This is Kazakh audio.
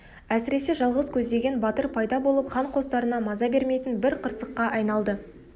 әсіресе жалғыз көздеген батыр пайда болып хан қостарына маза бермейтін бір қырсыққа айналды